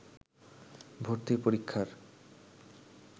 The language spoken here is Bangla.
ভর্তি পরীক্ষার